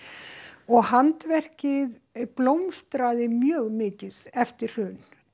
og handverkið blómstraði mjög mikið eftir hrun